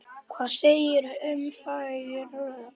Hvað segirðu um þau rök?